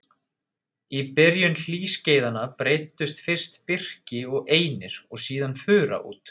Í byrjun hlýskeiðanna breiddust fyrst birki og einir og síðan fura út.